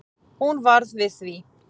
Hún varð við því